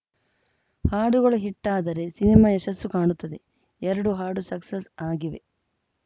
ಹಾಡುಗಳು ಹಿಟ್‌ ಆದರೆ ಸಿನಿಮಾ ಯಶಸ್ಸು ಕಾಣುತ್ತದೆ ಎರಡು ಹಾಡು ಸಕ್ಸಸ್‌ ಆಗಿವೆ